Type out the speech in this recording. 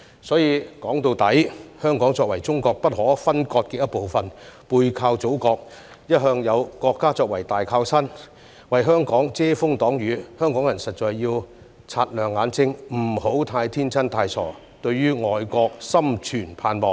所以，說到底，香港作為中國不可分割的一部分，背靠祖國，一向有國家作為大靠山，為香港遮風擋雨，香港人實在要擦亮眼睛，不要太天真、太傻，對外國心存盼望。